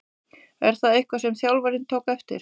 Er það eitthvað sem þjálfarinn tók eftir?